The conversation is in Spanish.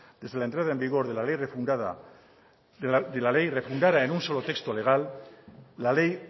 desde la entrada en vigor de la ley refundada en un solo texto legal la ley